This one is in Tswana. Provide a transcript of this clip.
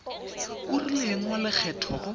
o rileng wa lekgetho go